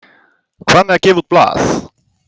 Hvað með að gefa út blað?